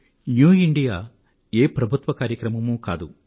new India ఏ ప్రభుత్వ కార్యక్రమమూ కాదు